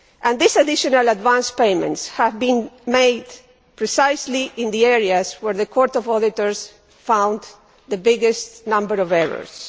These additional advance payments have been made precisely in the areas where the Court of Auditors found the biggest number of errors.